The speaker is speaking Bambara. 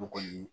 Bogo ye